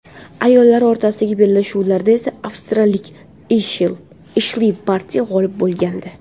Ayollar o‘rtasidagi bellashuvlarda esa avstraliyalik Eshli Barti g‘olib bo‘lgandi.